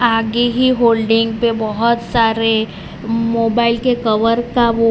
आगे ही होल्डिंग पे बहोत सारे मोबाइल के कवर का वो --